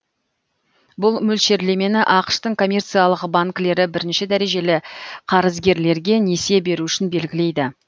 бұл мөлшерлемені ақш тың коммерциялық банкілері бірінші дәрежелі қарызгерлерге несие беру үшін белгілейді